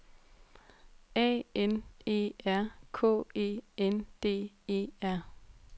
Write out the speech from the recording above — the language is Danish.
A N E R K E N D E R